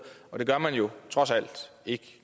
det gør man jo trods alt ikke